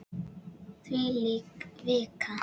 Þvílík vika!